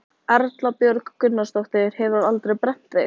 Erla Björg Gunnarsdóttir: Hefurðu aldrei brennt þig?